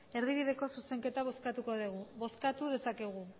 erdibideko zuzenketa bozkatuko dugu bozkatu dezakegu